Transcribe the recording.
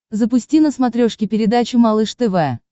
запусти на смотрешке передачу малыш тв